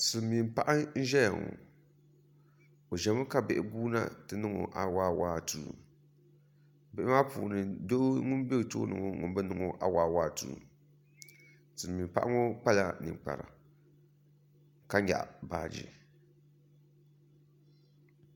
Silmiin paɣa n ʒɛya ŋɔ o ʒɛmi ka bihi guuna n ti niŋɔ awaawaatuu bihi maa puuni doo ŋun bɛ tuuli ŋɔ ŋun bi niŋɔ awaawaatuu silmiin paɣa ŋɔ kpala ninkpara ka nyaɣa baaji